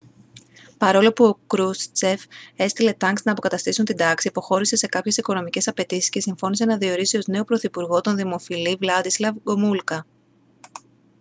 παρόλο που ο κρούστσεφ έστειλε τανκς να αποκαταστήσουν την τάξη υποχώρησε σε κάποιες οικονομικές απαιτήσεις και συμφώνησε να διορίσει ως νέο πρωθυπουργό τον δημοφιλή βλάντισλαβ γκομούλκα